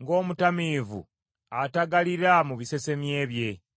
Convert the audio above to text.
ng’omutamiivu atagalira mu bisesemye bye.